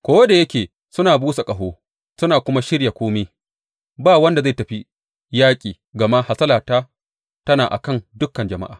Ko da yake suna busa ƙaho suna kuma shirya kome, ba wanda zai tafi yaƙi, gama hasalata tana a kan dukan jama’a.